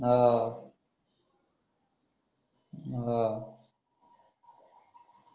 आह आह